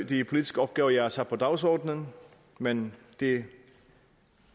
de politiske opgaver jeg har sat på dagsordenen men det